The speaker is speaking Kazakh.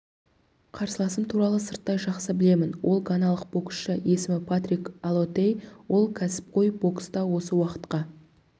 қарсыласым туралы сырттай жақсы білемін ол ганалық боксшы есімі патрик аллотей ол кәсіпқой бокста осы уақытқа